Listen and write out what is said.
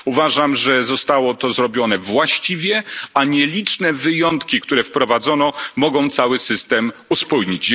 Uważam, że zostało to zrobione właściwie, a nieliczne wyjątki, które wprowadzono, mogą cały system uspójnić.